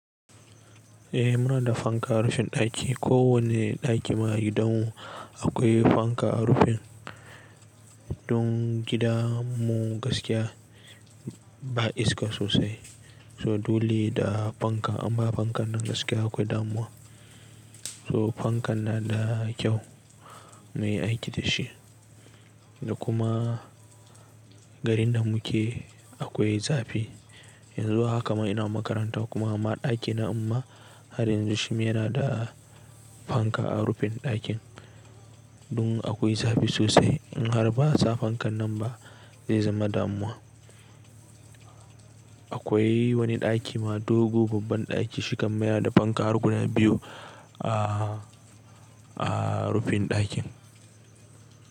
Eh muna da fanka rashin ɗaki. Ko wane ɗaki ma a gidanmu akwai fanka a rufin. Don gida mu gaskiya ba iska sosai. So dole da fanka amma fankan nan gaskiya akwai damuwa. To fankan na da kyau muyi aiki da shi. Da kuma garin da muke akwai zafi. Yanzu haka ma ina makaranta kuma ma ɗaki na mma har yanzu shi ma yana da fanka a rufin ɗakin. Don akwai zafi sosai. In har ba sa fankan nan ba zai zama damuwa. Akwai wani ɗaki ma dogo babban ɗaki shi kam yana da fanka har guda biyu a, a rufin ɗakin.